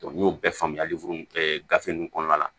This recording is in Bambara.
n y'o bɛɛ faamuyali mun kɛ gafe ninnu kɔnɔna la